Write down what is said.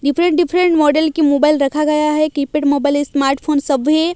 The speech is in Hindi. डिफरेंट डिफरेंट मॉडल की मोबाइल रखा गया है कीपैड मोबाइल स्मार्टफोन सभी।